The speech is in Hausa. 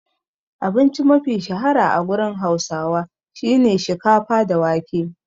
Abinci mafi shahara a gurin hausawa shine shikafa da wake.